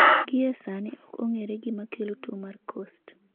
Gie sani ok ong'ere gima kelo tuo mar Coast.